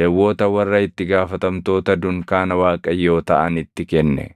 Lewwota warra itti gaafatamtoota dunkaana Waaqayyoo taʼanitti kenne.